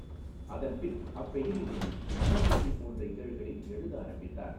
அதன்பின் அப்பெயரிலேயே மனஓசை போன்ற இதழ்களில் எழுத ஆரம்பித்தார்.